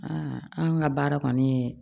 anw ka baara kɔni ye